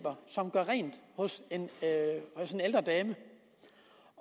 gøre rent hos en ældre dame